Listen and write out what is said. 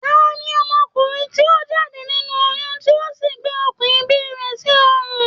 Tani ọmọkùnrin ti o jáde nínú oyún ti o sí gbé okùn ìbí rẹ̀ sí ọrùn?